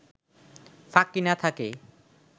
ফাঁকি না থাকে